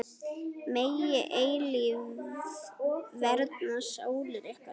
Megi eilífð vernda sálir ykkar.